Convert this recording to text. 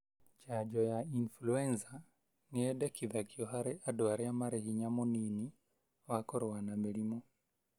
Janjo ya influenza nĩyendekithagio harĩ andũ arĩa marĩ hinya mũnini wa kũrua na mĩrimũ.